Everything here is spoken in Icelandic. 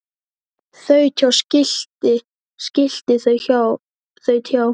Þaut hjá skilti skilti þaut hjá